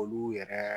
Olu yɛrɛ